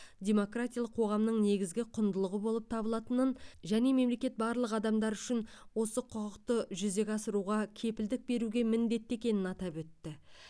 демократиялық қоғамның негізгі құндылығы болып табылатынын және мемлекет барлық адамдар үшін осы құқықты жүзеге асыруға кепілдік беруге міндетті екенін атап өтті